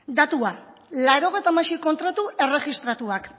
datua laurogeita hamasei kontratu erregistratuak